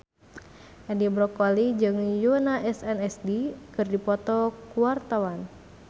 Edi Brokoli jeung Yoona SNSD keur dipoto ku wartawan